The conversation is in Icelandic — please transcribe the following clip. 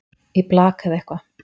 í blak eða eitthvað